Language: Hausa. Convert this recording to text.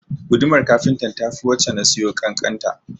Gudumar kafintan ta fi wacce na siyo ƙanƙanta